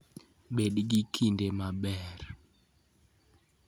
Bed gi kinde maber! .